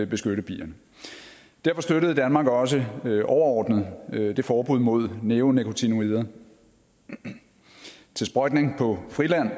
beskytte bierne derfor støttede danmark også overordnet det forbud mod neonikotinoider til sprøjtning på friland